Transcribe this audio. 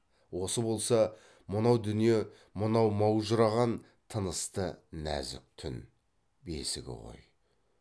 осы болса мынау дүние мынау маужыраған тынысты нәзік түн бесігі ғой